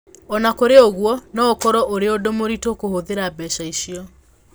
O na kũrĩ ũguo, no ũkorũo ũrĩ ũndũ mũritũ kũhũthĩra mbeca icio.